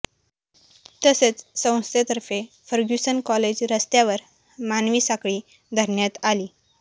तसेच संस्थेतर्फे Fergusson college रस्त्यावर मानवी साखळीचे धरण्यात आली